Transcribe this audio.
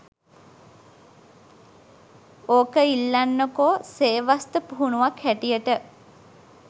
ඕක ඉල්ලන්නකො සේවාස්ථ පුහුණුවක් හැටියට